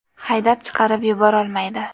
Haydab chiqarib yuborolmaydi.